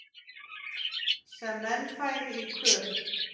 sem menn færi í kör